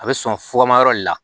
A bɛ sɔn fugumayɔrɔ de la